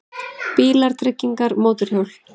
BÍLAR, TRYGGINGAR, MÓTORHJÓL